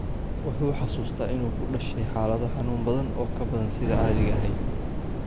Wuxuu xasuustaa inuu ku dhashay xaalado xanuun badan oo ka badan sidii caadiga ahayd.